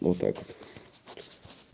вот так вот